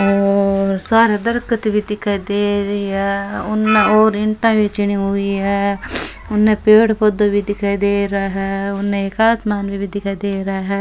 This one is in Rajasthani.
और सारे दरख्त भी दिखाई देरी हे और ईटा भी चिन्नी हुई है उनने पेड़ पौधा भी दिखाई दे रा है उनने आसमान भी दिखाई देरा है।